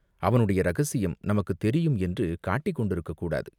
அவனுடைய இரகசியம் நமக்குத் தெரியும் என்று காட்டிக் கொண்டிருக்கக் கூடாது.